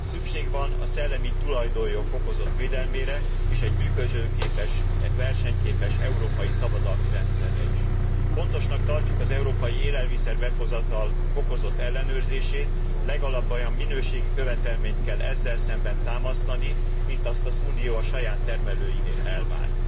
Szükség van a szellemi tulajdonjog fokozott védelmére és egy működőképes, versenyképes európai szabadalmi rendszerre is. Fontosnak tartjuk az európai élelmiszer behozatal fokozott ellenőrzését, legalább olyan minőségi követelményt kell ezzel szemben támasztani, mint azt az Unió a saját termelőinél elvár.